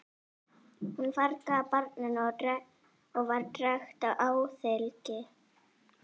Hún fargaði barninu og var drekkt á alþingi.